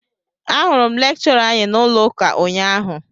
Ahụrụ m lekchọra anyị n'ụlọ ụka ụnyaahụ